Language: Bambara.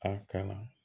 An ka